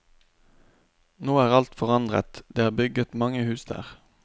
Nå er alt forandret, det er bygget mange hus der.